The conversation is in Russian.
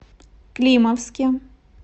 климовске